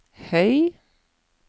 høy